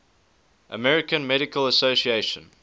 american medical association